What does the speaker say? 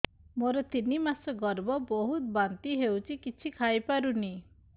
ମୋର ତିନି ମାସ ଗର୍ଭ ବହୁତ ବାନ୍ତି ହେଉଛି କିଛି ଖାଇ ପାରୁନି